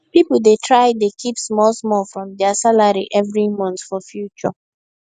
people dey try dey keep small small from their salary every month for future